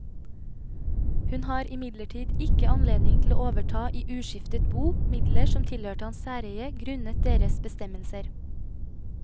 Hun har imidlertid ikke anledning til å overta i uskiftet bo midler som tilhørte hans særeie grunnet deres bestemmelser.